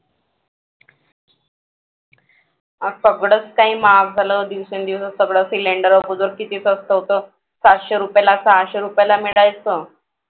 आ सगळंच काही महाग झालं दिवसेंदिवस cylinder अगोदर किती स्वस्त होतं. सातशे रुपयेला सहाशे रुपयेला मिळायचं.